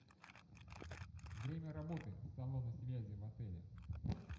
время работы салона связи в отеле